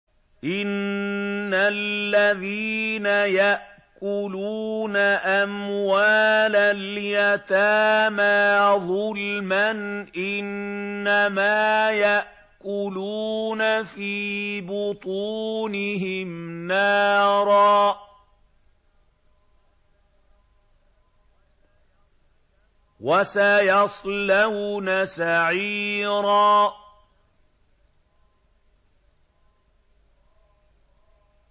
إِنَّ الَّذِينَ يَأْكُلُونَ أَمْوَالَ الْيَتَامَىٰ ظُلْمًا إِنَّمَا يَأْكُلُونَ فِي بُطُونِهِمْ نَارًا ۖ وَسَيَصْلَوْنَ سَعِيرًا